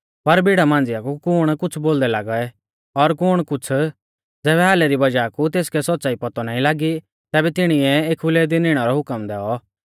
पर भिड़ा मांझ़िया कु कुण कुछ़ बोलदै लागै और कुण कुछ़ ज़ैबै हालै री वज़ाह कु तेसकै सौच़्च़ाई पौतौ नाईं लागी तैबै तिणीऐ एखुलै दी निणै रौ हुकम दैऔ